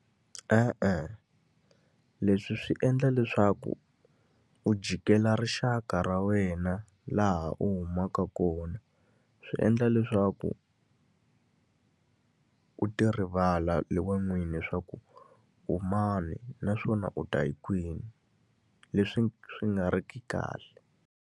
E-e, leswi swi endla leswaku u jikela rixaka ra wena laha u humaka kona. Swi endla leswaku u ti rivala hi wena n'wini leswaku u mani naswona u ta hi kwini. Leswi swi nga ri ki kahle.